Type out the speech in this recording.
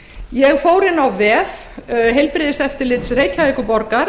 ég fór inn á vef heilbrigðiseftirlits reykjavíkurborgar